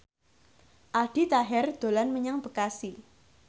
Aldi Taher dolan menyang Bekasi